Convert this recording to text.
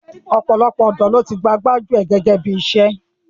Ọ̀pọ̀lọpọ̀ ọ̀dọ́ ló ti gba gbájú ẹ̀ gẹ́gẹ́ bí iṣẹ́.